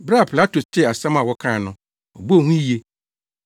Bere a Pilato tee asɛm a wɔkae no, ɔbɔɔ hu yiye.